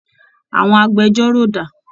Àwọn agbẹjọ́rò dà?